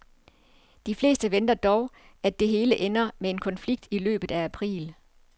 De fleste venter dog, at det hele ender med en konflikt i løbet af april.